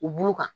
U b'u kan